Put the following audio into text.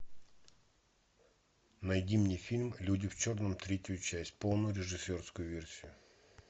найди мне фильм люди в черном третью часть полную режиссерскую версию